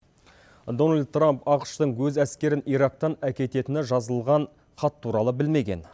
дональд трамп ақш тың өз әскерін ирактан әкететіні жазылған хат туралы білмеген